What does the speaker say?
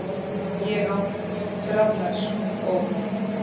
Ég át graflax um borð.